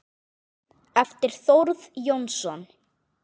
eftir Þórð Jónsson